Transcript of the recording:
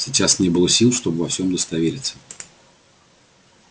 сейчас не было сил чтобы во всём удостовериться